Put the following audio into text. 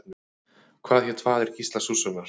Hvað hét faðir Gísla Súrssonar?